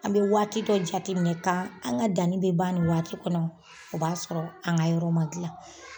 An be waati dɔ jateminɛ ka an ka danni be ban in waati kɔnɔ . O b'a sɔrɔ an ka yɔrɔ ma gilan.